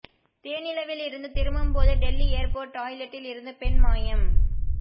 தேனிலவில் இருந்து திரும்பும்போது டெல்லி ஏர்போர்ட் டாய்லெட்டில் இருந்து பெண் மாயம்